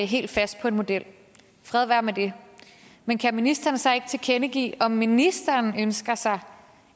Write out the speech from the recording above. helt fast på en model fred være med det men kan ministeren så ikke tilkendegive om ministeren ønsker sig